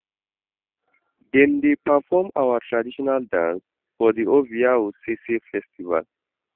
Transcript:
Dem dey perform our traditional dance for di Ovia Osese festival.